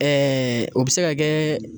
o bi se ka kɛ